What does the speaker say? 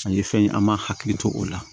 Ani fɛn an m'a hakili to o la